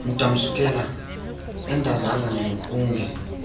ndamsukela andazanga unge